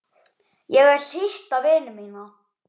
Ég vil hitta vini mína.